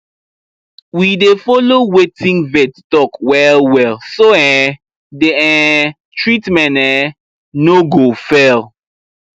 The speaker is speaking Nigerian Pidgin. we dey follow wetin vet talk wellwell so um the um treatment um no go fail